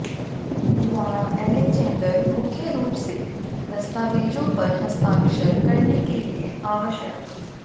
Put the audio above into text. द्वारा अलेक्जेंडर मुख्य रूप से दस्तावेजों पर हस्ताक्षर करने के लिए आवश्यक